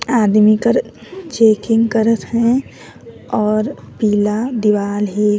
आदमी कर चेकिंग करत है और पीला दिवार है ।